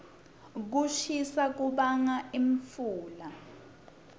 kushisa kubanga imfula